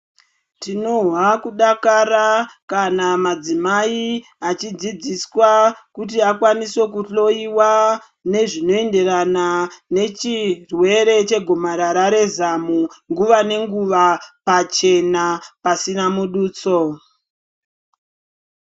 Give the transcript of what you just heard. Tinozwa kudakara kana madzimayi achidzidziswa kuti akwanise kuhloyiwa nezvinoyenderana nechirwere chegomarara rezamu nguwa nenguwa, pachena pasina mudutso.